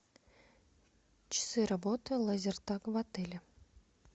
часы работы лазертаг в отеле